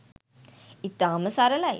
ඉතාම සරලයි